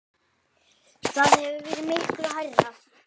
Það hefur verið miklu hærra.